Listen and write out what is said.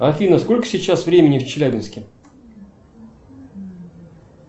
афина сколько сейчас времени в челябинске